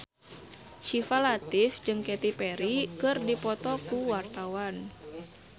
Syifa Latief jeung Katy Perry keur dipoto ku wartawan